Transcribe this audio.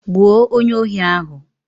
Gbuo onyeohi ahụ!